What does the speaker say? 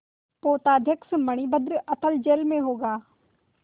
पोताध्यक्ष मणिभद्र अतल जल में होगा